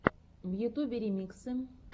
в ютюбе ремиксы